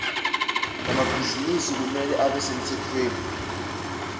emabhizinisi kumele abe semtsetfweni